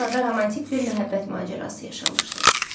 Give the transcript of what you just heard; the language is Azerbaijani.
Orada romantik bir məhəbbət macərası yaşamışdı.